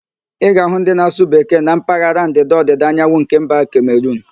Ị ga-ahụ ndị na-asụ Bekee na mpaghara Ndịda-Ọdịda Anyanwụ nke mba Kemeruun